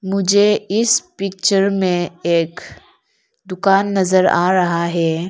मुझे इस पिक्चर में एक दुकान नजर आ रहा है।